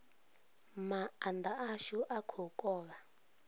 maanda ashu a kha u kovha